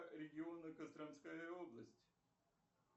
региона костромская область